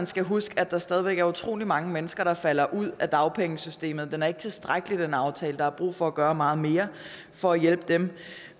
skal huske på at der stadig væk er utrolig mange mennesker der falder ud af dagpengesystemet aftalen er ikke tilstrækkelig der er brug for at gøre meget mere for at hjælpe dem